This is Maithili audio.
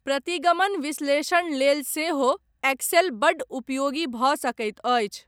प्रतिगमन विश्लेषण लेल सेहो एक्सेल बड्ड उपयोगी भऽ सकैत अछि।